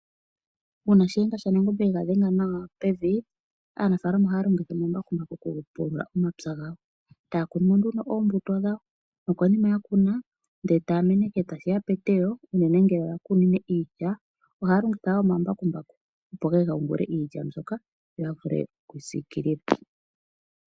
Una shi yenga shanangombe yega dhenga nawa pevi , aanafalama oha longitha omambakumbaku okupulula omapya gawo eta kunu nduno oombuto dhawo. Nokunima yakuna nde tameneke tashiya peteyo unene ngele ya kunine iilya ohaya longitha omambakumbaku opo geye ga yungule Iilya mbwoka noya vule okuyi sikilila .